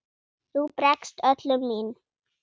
Þú bregst öllum mín